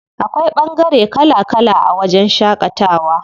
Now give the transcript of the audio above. Akwai ɓangare kala kala a wajen shaƙatawa.